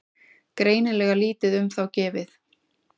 Greinilega lítið um þá gefið.